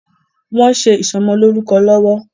Wòn sé isòmòlórúkò lòwò